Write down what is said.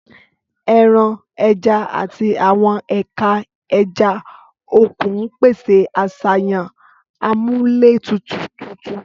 Ẹran, ẹja, àti àwọn ẹ̀ka ẹja òkun ń pèsè àṣàyàn amúlétutù tuntun.